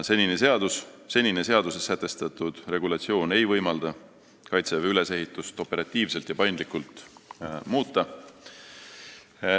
Senine seaduses sätestatud regulatsioon ei võimalda Kaitseväe ülesehitust operatiivselt ja paindlikult muuta.